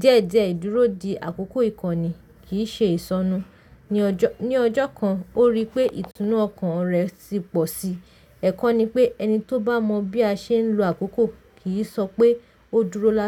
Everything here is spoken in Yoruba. Diẹ́diẹ́ ìdúró di àkókò ìkọ́ni kì í ṣe ìsọnù. Ni ọjọ́ kan, ó rí pé ìtùnú ọkàn rẹ̀ ti pọ̀ síi. Ẹ̀kọ́ ni pé ẹni tó bá mọ bí a ṣe ń lo àkókò kì í sọ pé ó dúró láé.